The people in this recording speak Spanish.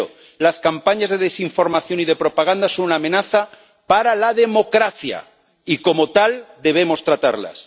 Primero, las campañas de desinformación y de propaganda son una amenaza para la democracia, y como tal debemos tratarlas.